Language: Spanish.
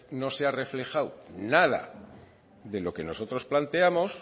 no se ha reflejado nada de lo que nosotros planteamos